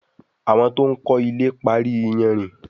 Àwọn to'n kò ilè parí iyanrìn